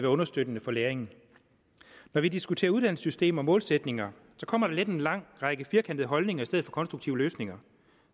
understøttende for læringen når vi diskuterer uddannelsessystem og målsætninger kommer der let en lang række firkantede holdninger i stedet for konstruktive løsninger